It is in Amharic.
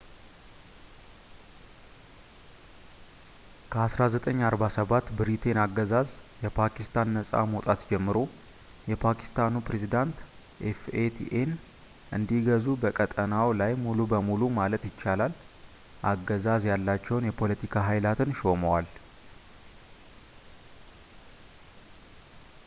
"ከ1947 ብሪቴይን አገዛዝ የፓኪስታን ነጻ መውጣት ጀምሮ፣ የፓኪስታኑ ፕሬዝደንት fataን እንዲገዙ በቀጠናው ላይ ሙሉ በሙሉ ማለት ይቻላል አገዛዝ ያላቸውን የ”ፖለቲካ ኃይላትን” ሾመዋል።